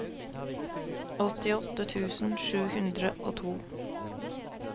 åttiåtte tusen sju hundre og to